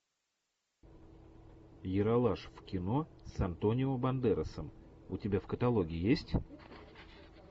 ералаш в кино с антонио бандерасом у тебя в каталоге есть